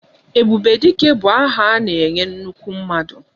Ebube Dike bụ aha a na-enye nnukwu mmadụ